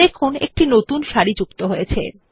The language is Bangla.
দেখুন একটি নতুন সারি যুক্ত হয়েছে